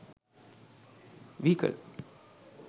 vehicle